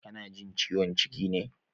Kana jin ciwon ciki ne?